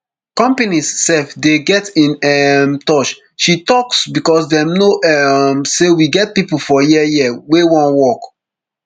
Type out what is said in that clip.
companies sef dey get in um touch she stoks becos dem no um say we get pipo for here here wey wan work